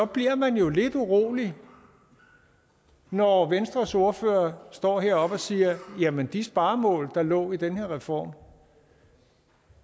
bliver man jo lidt urolig når venstres ordfører står heroppe og siger jamen de sparemål der lå i den her reform